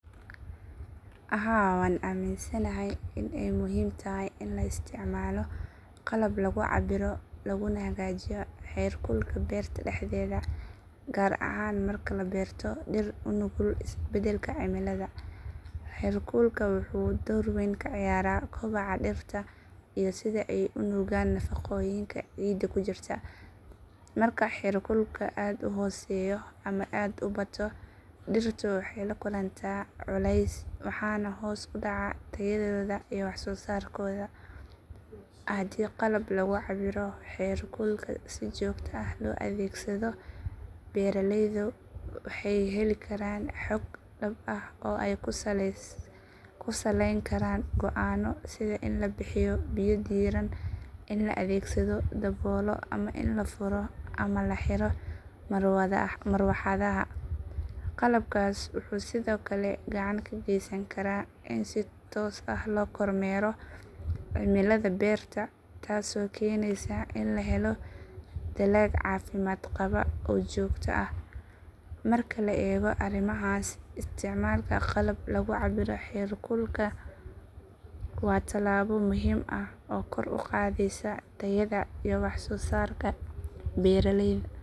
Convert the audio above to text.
Haa waan aaminsanahay in ay muhiim tahay in la isticmaalo qalab lagu cabbiro laguna hagaajiyo heerkulka beerta dhexdeeda gaar ahaan marka la beerto dhir u nugul isbedbedelka cimilada. Heerkulka wuxuu door weyn ka ciyaaraa kobaca dhirta iyo sida ay u nuugaan nafaqooyinka ciidda ku jira. Marka heerkulku aad u hooseeyo ama aad u bato, dhirtu waxay la kulantaa culays waxaana hoos u dhacaya tayadooda iyo wax soo saarkooda. Haddii qalab lagu cabbiro heerkulka si joogto ah loo adeegsado, beeraleydu waxay heli karaan xog dhab ah oo ay ku saleyn karaan go'aanno sida in la bixiyo biyo diirran, in la adeegsado daboolo ama in la furo ama la xiro marawaxadaha. Qalabkaas wuxuu sidoo kale gacan ka geysan karaa in si toos ah loo kormeero cimilada beerta taasoo keenaysa in la helo dalag caafimaad qaba oo joogto ah. Marka la eego arrimahaas, isticmaalka qalab lagu cabbiro heerkulka waa talaabo muhiim ah oo kor u qaadaysa tayada iyo wax soo saarka beeraleyda.